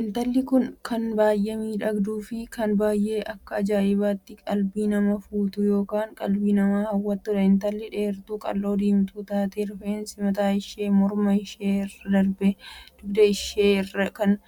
Intalli kun kan baay'ee miidhagduu Fi kan baay'ee Akka ajaa'ibaatti qalbii nama fuutu ykn qalbii nama hawwattudha. intalli dheertuu qal'oo diimtuu taatee rifeensi mataa ishee mormaa ishee irra darbee dugda ishee irraa kan